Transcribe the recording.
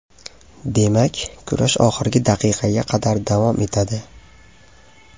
Demak, kurash oxirgi daqiqaga qadar davom etadi.